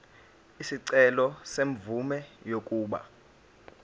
isicelo semvume yokuba